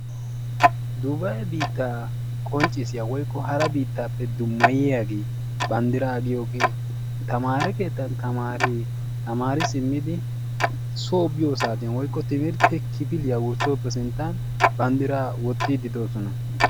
Duubaye biitaa qonccissiyaagee woykko hara biitaappe dummayiyaagee bandiraa giyoogee tamaare keettan tamaareti tamaari simmidi soo biyo saatiyan woykko timirte kifiliya wurssiyo saattiya bandiraa wotiidi doosona.